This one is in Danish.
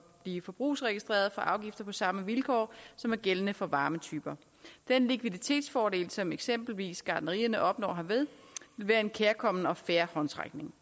blive forbrugsregistrerede for afgifter på samme vilkår som er gældende for varmetyper den likviditetsfordel som eksempelvis gartnerierne opnår herved vil være en kærkommen og fair håndsrækning